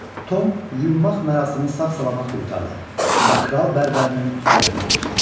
Tom yuyunmaq mərasimi sağ-salamat qurtardı və kral bərbərinin ixtiyarına keçdi.